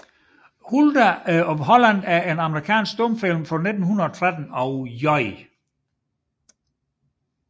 Hulda of Holland er en amerikansk stumfilm fra 1913 af J